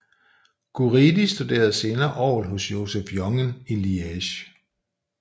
Guridi studerede senere orgel hos Joseph Jongen i Liege